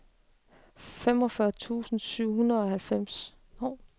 femogfyrre tusind syv hundrede og halvfjerds